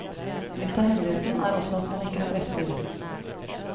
Litt av hemmeligheten er også at man ikke stresser.